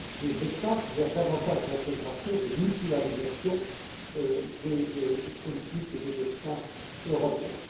mais aussi des étapes vers davantage d'intégration, de mutualisation des politiques et des destins européens.